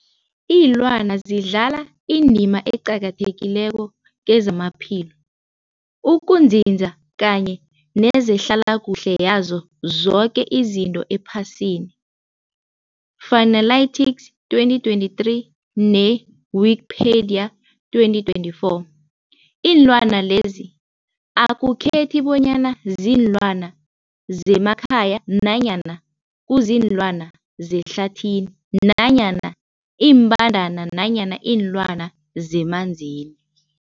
Iinlwana zidlala indima eqakathekileko kezamaphilo, ukunzinza kanye nezehlala kuhle yazo zoke izinto ephasini, Fuanalytics 2023, ne-Wikipedia 2024. Iinlwana lezi akukhethi bonyana ziinlwana zemakhaya nanyana kuziinlwana zehlathini nanyana iimbandana nanyana iinlwana zemanzini.